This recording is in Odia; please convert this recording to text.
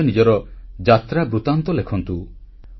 ନିଜ ନିଜର ଯାତ୍ରା ବୃତ୍ତାନ୍ତ ଲେଖନ୍ତୁ